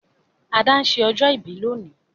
Ada n se ọjọ́ ìbí lónìí